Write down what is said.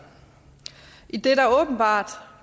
idet der åbenbart